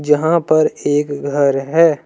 यहां पर एक घर है।